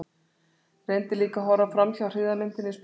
Reyndi líka að horfa framhjá hryggðarmyndinni í speglinum.